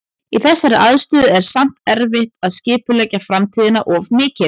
Í þessari aðstöðu er samt erfitt að skipuleggja framtíðina of mikið.